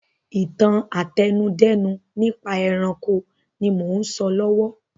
Ìtàn àtẹnudẹ́nu nípa ẹranko ni mò ún sọ lọ́wọ́